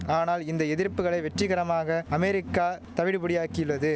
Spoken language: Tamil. ஆனால் இந்த எதிர்ப்புகளை வெற்றிகரமாக அமெரிக்கா தவிடுபொடியாக்கியுள்ளது